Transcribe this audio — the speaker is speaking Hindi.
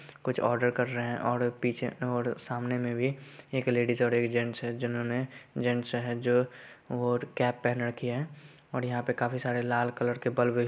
कुछ ओडर कर रहे हैं ऑर्डर पीछे ऑर्डर सामने मे भी एक लेडिज और जेन्स हैं जिन्होंने जेन्स हैं जो और कैप पेहेन रखी हैं और यहाँ पे काफी सारे लाल कलर के बल्ब ह